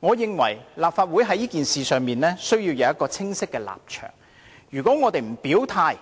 我認為立法會在此事上需要有清晰的立場，如果我們不表態，